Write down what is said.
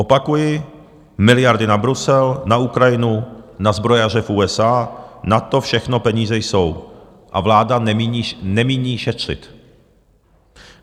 Opakuji, miliardy na Brusel, na Ukrajinu, na zbrojaře v USA, na to všechno peníze jsou a vláda nemíní šetřit.